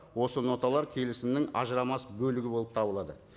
осы ноталар келісімнің ажырамас бөлігі болып табылады